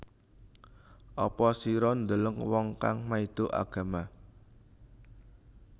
Apa sira deleng wong kang maido agama